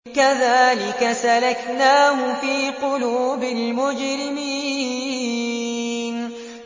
كَذَٰلِكَ سَلَكْنَاهُ فِي قُلُوبِ الْمُجْرِمِينَ